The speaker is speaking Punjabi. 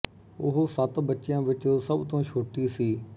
ਉਹ ਸੱਤ ਬੱਚਿਆਂ ਵਿੱਚ ਸਭ ਤੋਂ ਛੋਟੀ ਸੀ